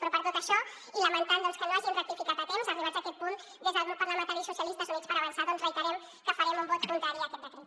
però per tot això i lamentant doncs que no hagin rectificat a temps arribats a aquest punt des del grup parlamentari socialistes units per avançar doncs reiterem que farem un vot contrari a aquest decret